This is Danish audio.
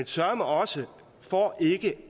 søreme også for ikke